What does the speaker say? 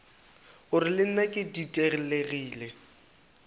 gore le nna ke ditelegile